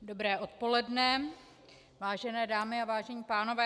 Dobré odpoledne, vážené dámy a vážení pánové.